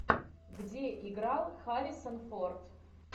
где играл харрисон форд